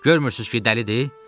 Görmürsüz ki, dəlidir?